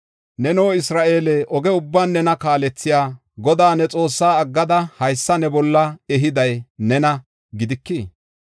Neno Isra7eele, oge ubban nena kaalethiya, Godaa ne Xoossaa aggada haysa ne bolla ehiday nena gidikii?